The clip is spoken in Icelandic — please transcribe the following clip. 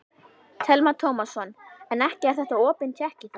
Telma Tómasson: En ekki er þetta opin tékki þá?